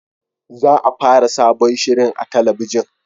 Za a fara sabon shirin a talabijin